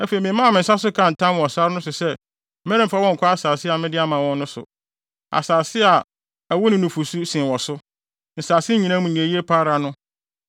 Afei memaa me nsa so kaa ntam wɔ sare no so sɛ meremfa wɔn nnkɔ asase a mede ama wɔn no so, asase a ɛwo ne nufusu sen wɔ so, nsase nyinaa mu nea eye pa ara no,